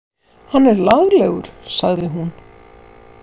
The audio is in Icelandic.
Hann er laglegur, sagði hún.